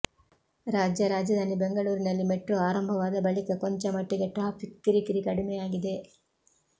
ರಾಜ್ಯ ರಾಜಧಾನಿ ಬೆಂಗಳೂರಿನಲ್ಲಿ ಮೆಟ್ರೋ ಆರಂಭವಾದ ಬಳಿಕ ಕೊಂಚ ಮಟ್ಟಿಗೆ ಟ್ರಾಫಿಕ್ ಕಿರಿಕಿರಿ ಕಡಿಮೆಯಾಗಿದೆ